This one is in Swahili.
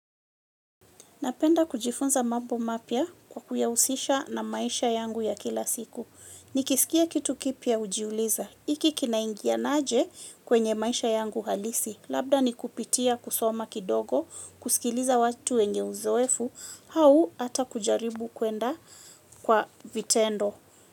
Napenda kujifunza mabbo mapya kwa kuyahusisha na maisha yangu ya kila siku. Nikisikia kitu kipya hujiuliza. Iki kinaingiana aje kwenye maisha yangu halisi. Labda ni kupitia kusoma kidogo, kusikiliza watu wenye uzoefu, hau ata kujaribu kwenda kwa vitendo.